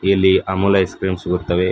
ಇಲ್ಲಿ Amul ice cream ಇರುತವೇ.